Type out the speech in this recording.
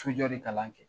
Sojɔ de kalan kɛ